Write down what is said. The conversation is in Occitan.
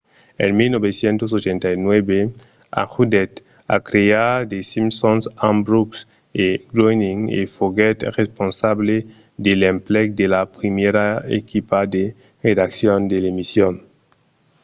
en 1989 ajudèt a crear the simpsons amb brooks e groening e foguèt responsable de l'emplec de la primièra equipa de redaccion de l'emission